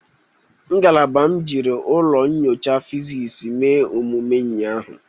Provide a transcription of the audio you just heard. Ngalaba m jiri ụlọ nyocha fizisi mee omume ụnyaahụ.